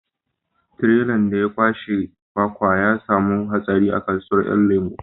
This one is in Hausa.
Tirelan da ya kwashe kwakwa ta samu hatsari a kasuwan 'yan lemo